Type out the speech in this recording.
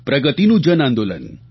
પ્રગતિનું જન આંદોલન